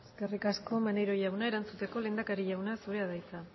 eskerrik asko maneiro jauna erantzuteko lehendakari jauna zurea da hitza